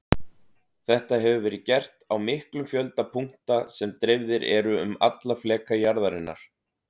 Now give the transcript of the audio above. Þetta hefur verið gert á miklum fjölda punkta sem dreifðir eru um alla fleka jarðarinnar.